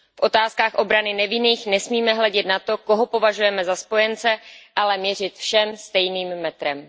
V otázkách obrany nevinných nesmíme hledět na to, koho považujeme za spojence, ale měřit všem stejným metrem.